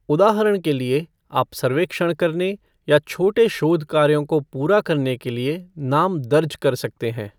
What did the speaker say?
उदाहरण के लिए, आप सर्वेक्षण करने या छोटे शोध कार्यों को पूरा करने के लिए नाम दर्ज़ कर सकते हैं।